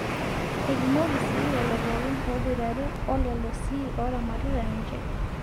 Eipimoki sii lelo pookin ooboitare oo lelo sii ooramatita ninche.